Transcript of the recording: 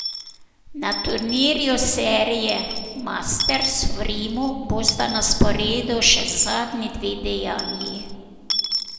Na turnirju serije masters v Rimu bosta na sporedu še zadnji dve dejanji.